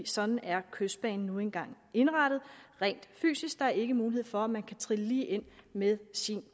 sådan er kystbanen nu engang indrettet rent fysisk der er ikke mulighed for at man kan trille lige ind med sin